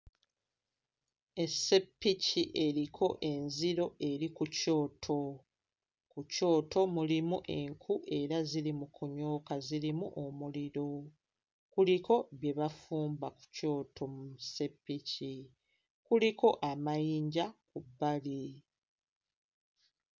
Esseppiki eriko enziro eri ku kyoto. Mu kyoto mulimu enku era ziri mu kunyooka zirimu omuliro. Kuliko bye bafumba ku kyoto mu sseppiki. Kuliko amayinja ku bbali.